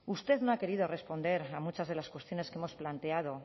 usted no ha querido responder a muchas de las cuestiones que hemos planteado